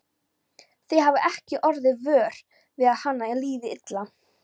Þið hafið ekki orðið vör við að honum liði illa?